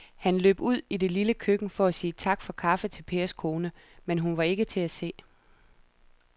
Han løb ud i det lille køkken for at sige tak for kaffe til Pers kone, men hun var ikke til at se.